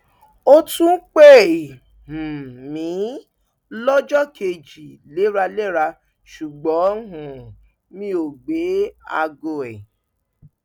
ó tún pè um mí lọjọ kejì léraléra ṣùgbọn um mi ò gbé aago ẹ